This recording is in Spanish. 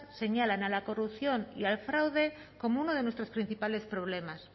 señalan a la corrupción y al fraude como una de nuestros principales problemas